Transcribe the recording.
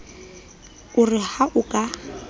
o re ha o ka